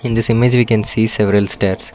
In this image we can see several steps.